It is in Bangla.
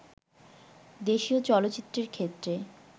দেশীয় চলচ্চিত্রের ক্ষেত্রে